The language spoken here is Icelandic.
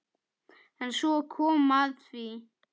En svo kom að því.